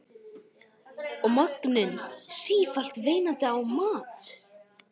Og maginn sífellt veinandi á mat.